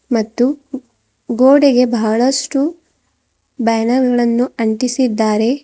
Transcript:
ಮತ್ತು ಗೋಡೆಗೆ ಬಹಳಷ್ಟು ಬ್ಯಾನರ್ ಗಳನ್ನು ಅಂಟಿಸಿದ್ದಾರೆ.